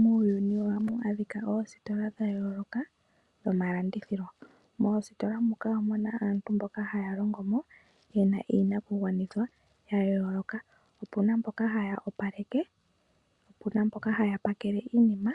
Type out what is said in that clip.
Muuyuni ohamu adhika oosiola dha yooloka dhomalandithilo. Moositola moka omu na aantu mboka haa longo mo, ye na iinakugwanithwa ya yooloka. Opu na mboka haa opaleke, opu na mboka haya pakele iinima,